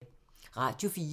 Radio 4